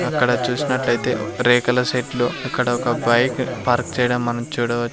అక్కడ చూసినట్లయితే రేకుల షెడ్లు అక్కడ ఒక బైక్ పార్క్ చేయడం మనం చూడవచ్ --